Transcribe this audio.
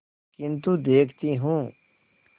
किन्तु देखती हूँ